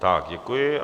Tak děkuji.